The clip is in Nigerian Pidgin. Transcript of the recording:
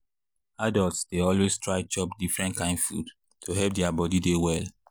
adults dey always try chop different kain food to help their body dey well.